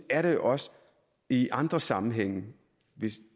er det jo også i andre sammenhænge